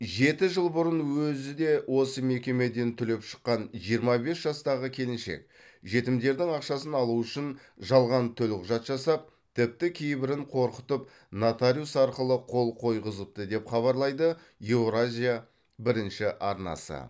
жеті жыл бұрын өзі де осы мекемеден түлеп ұшқан жиырма бес жастағы келіншек жетімдердің ақшасын алу үшін жалған төлқұжат жасап тіпті кейбірін қорқытып нотариус арқылы қол қойғызыпты деп хабарлайды еуразия бірінші арнасы